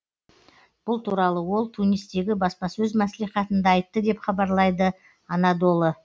бұл туралы ол тунистегі баспасөз мәслихатында айтты деп хабарлайды анадолы